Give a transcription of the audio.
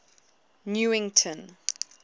newington